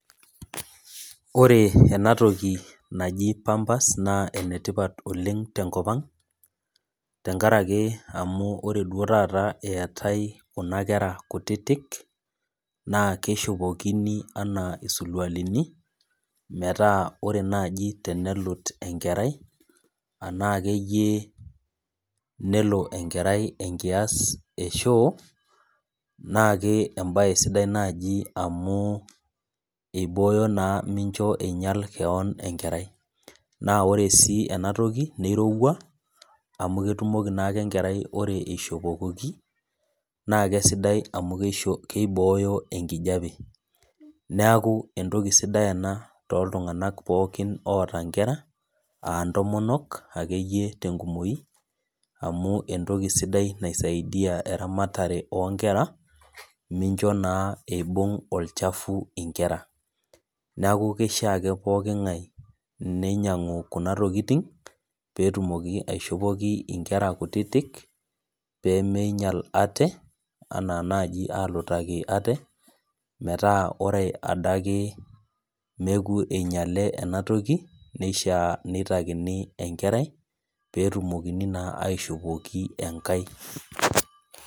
Ore enatoki naji pampers naa enetipat oleng tenkop ang, tenkaraki amunore duo taata eetai kuna kera kutitik, naa keshukokini enaa isirkualini, metaa ore naji tenelut enkerai, anaa akeyie nelo enkerai enkias eshoo, naake ebae sidai naji amu ibooyo naa mincho einyal keon enkerai. Na ore si enatoki, kirowua, amu ketumoki nake enkerai ata ishopokoki, na kesidai amu kibooyo enkijape. Neeku entoki sidai ena toltung'anak pookin oota inkera, ah ntomonok akeyie tenkumoyu, amu entoki sidai naisaidia eramatare onkera, mincho naa eibung' olchafu inkera. Neeku keishaa ake pooking'ae ninyanu kuna tokiting, petumoki aishopoki inkera kutitik, pemeinyal ate, anaa naaji alutaki ate, metaa ore adake neku inyale enatoki, neishaa nitakini enkerai, petumokini naa aishopoki enkae.